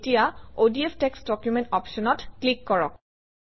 এতিয়া ODF text document অপশ্যনত click কৰক